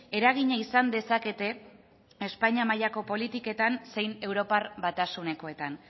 eragina izan dezakete espainia mailako politiketan zein europar batasunekoetan